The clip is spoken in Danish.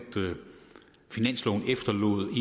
finansloven efterlod en